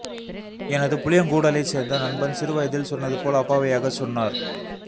எனது புளியங்கூடலைச் சேர்ந்த நண்பன் சிறு வயதில் சொன்னதுபோல் அப்பாவியாகச் சொன்னார்